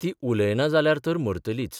ती उलयना जाल्यार तर मरतलीच.